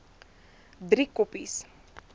driekoppies